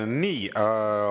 Nii.